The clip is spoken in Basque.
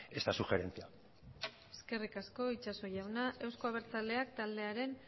esta sugerencia eskerrik asko itxaso jauna euzko abertzaleak taldearen